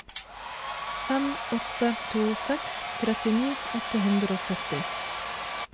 fem åtte to seks trettini åtte hundre og sytti